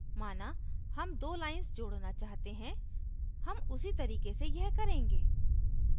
माना हम दो lines जोड़ना चाहते हैं हम उसी तरीके से यह करेंगे